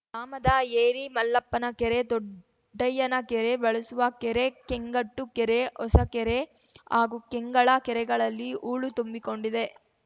ಗ್ರಾಮದ ಏರಿ ಮಲ್ಲಪ್ಪನ ಕೆರೆ ದೊಡ್ಡಯ್ಯನ ಕೆರೆ ಬಳಸುವ ಕೆರೆ ಕೆಂಗಟ್ಟು ಕೆರೆ ಹೊಸಕೆರೆ ಹಾಗೂ ಕೆಂಗಳ ಕೆರೆಗಳಲ್ಲಿ ಹೂಳು ತುಂಬಿಕೊಂಡಿದೆ